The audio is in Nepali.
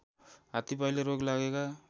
हातीपाइले रोग लागेका